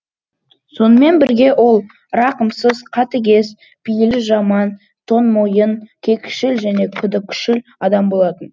сонымен бірге ол рақымсыз қатыгез пейілі жаман тоңмойын кекшіл және күдікшіл адам болатын